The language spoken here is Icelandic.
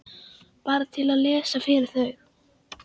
Bara til að lesa fyrir þau.